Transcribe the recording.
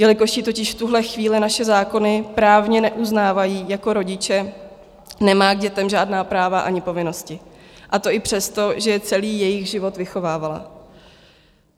Jelikož ji totiž v tuhle chvíli naše zákony právně neuznávají jako rodiče, nemá k dětem žádná práva ani povinnosti, a to i přesto, že je celý jejich život vychovávala.